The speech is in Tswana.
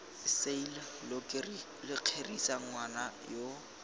sale lo kgerisa ngwana yoo